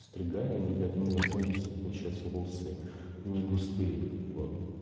стригали блять но у меня сами по себе получается волосы негустые вот